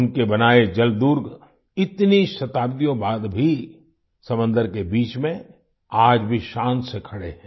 उनके बनाए जलदुर्ग इतनी शताब्दियों बाद भी समंदर के बीच में आज भी शान से खड़े हैं